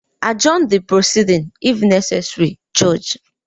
Adjourn the proceeding if necessary, Judge.